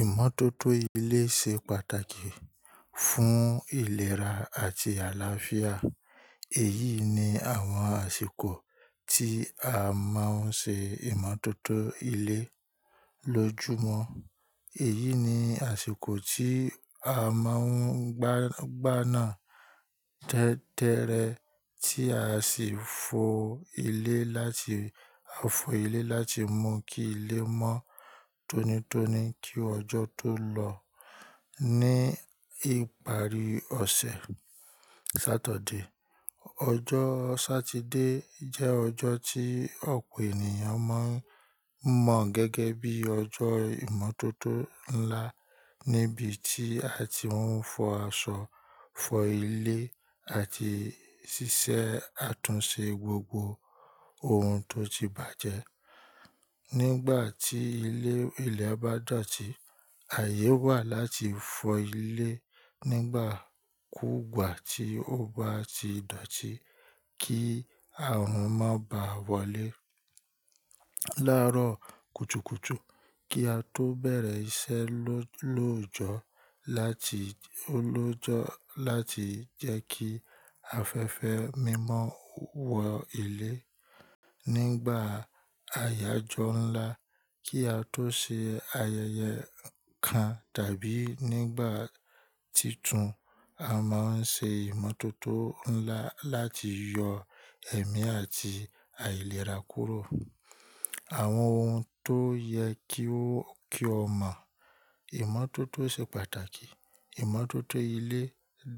Ìmọ́tótó ilé ṣe pàtàkì fún ìlera àti àlàáfíà. Èyí ni àwọn àsìkò tí a máa ń ṣe ìmọ́tótó ilé. Lójúmọ́, èyí ni àsìkò tí a máa ń gbá-gbá náà tẹ́ẹ́rẹ́ tí a sì fọ ilé láti-- a fọ ilé láti mú kí ilé mọ́ tónítóní kí ọjọ́ tó lọ. Ní ìparí ọ̀sẹ̀, Sátọ̀dé. Ọjọ́ Satide jẹ́ ọjọ́ tí ọ̀pọ̀ ènìyàn máa ń mọ̀ gẹ́gẹ́ bí ọjọ́ ìmọ́tótó ńlá níbi tí a ti ń fọ aṣọ, fọ ilé àti ṣíṣe àtúnṣe gbogbo ohun tó ti bàjẹ́. Nígbà tí ilẹ̀ bá dọ̀tí, ààyè wà láti fọ ilẹ nígbà kúùgbà tí ó bá ti dọ̀tí kí ààrùn má bà wọlé. Lárọ̀ kùtùkùtù kí á tó bẹ̀rẹ̀ iṣẹ́ lóòjọ́ láti-- lóòjọ́ láti jẹ́ kí afẹ́fẹ́ mímọ wọ ilé. Nígbà àyájọ ńlá kí á tó ṣe ayẹyẹ kan tàbí nígbà titun, a máa ń ṣe ìmọ́tótó ńlá láti yọ ẹ̀mí àti àìlera kúrò. Àwọn ohun tó yẹ kí o mọ̀, ìmọ́tótó ṣe pàtàkì. Ìmọ́tótó ilé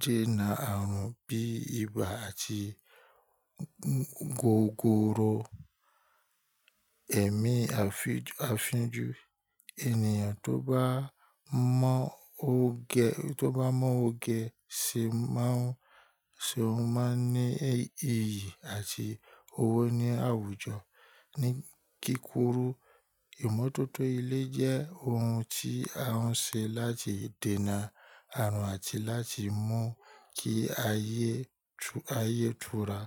dènà ààrùn bí ibà àti gogoro, ẹ̀mí àfínjù. Ènìyàn tó bá mọ oge ṣe má ń ní iyì àti owó ní àwùjọ. Ní kíkuru, ìmọ́tótó ilé jẹ́ ohun tí a ń ṣe láti dènà ààrùn àti láti mú kí ayé tura.